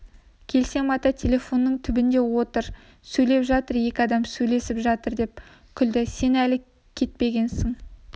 келсем ата телефонның түбінде отыр сөйлеп жатыр екі адам сөйлесіп жатыр деп күлді сен әлі кетпегенсің